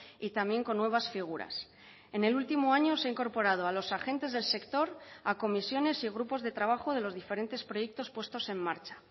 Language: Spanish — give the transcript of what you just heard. y también con nuevas figuras en el último año se ha incorporado a los agentes del sector a comisiones y grupos de trabajo de los diferentes proyectos puestos en marcha